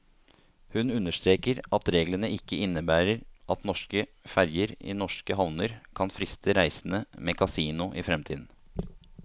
Hun understreker at reglene ikke innebærer at norske ferger i norske havner kan friste reisende med kasino i fremtiden.